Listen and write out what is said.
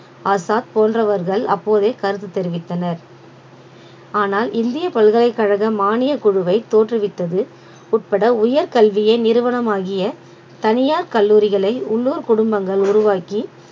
அசாத் போன்றவர்கள் அப்போதே கருத்து தெரிவித்தனர் ஆனால் இந்திய பல்கலைக்கழக மானியக் குழுவை தோற்றுவித்தது உட்பட உயர் கல்வியே நிறுவனமாகிய தனியார் கல்லூரிகளை உள்ளூர் குடும்பங்கள் உருவாக்கி